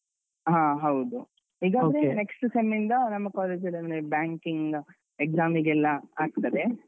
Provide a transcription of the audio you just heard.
ಹ ಹೌದು next sem ಇಂದ ನಮ್ಮ college ಅಲ್ಲಿ, ಅಂದ್ರೆ banking examinig ಗೆಲ್ಲ ಆಗ್ತದೆ.